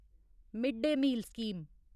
mid day meal scheme